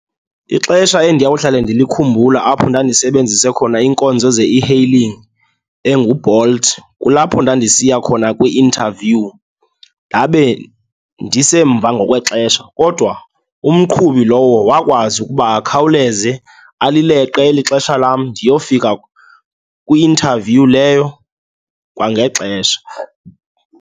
Ixesha endiyawuhlale ndikhumbula, apho ndandisebenzise khona iinkonzo ze-e-hailing enguBolt, kulapho ndandisiya khona kwi-interview ndabe ndisemva ngokwexesha. Kodwa umqhubi lowo wakwazi ukuba akhawuleze alileqe eli xesha lam, ndiyofika kwi-interview leyo kwangexesha.